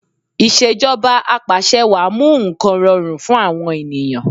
Ìṣèjọba Apàṣẹwàá mú nǹkan rọrùn fún àwọn ènìyàn